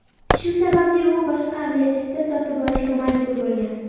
Shu sababli u boshqa aviachipta sotib olishga majbur bo‘lgan.